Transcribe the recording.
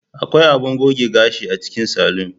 Akwai abun goge gashi a cikin salon.